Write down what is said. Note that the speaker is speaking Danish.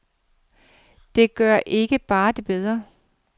Det gør det bare ikke bedre.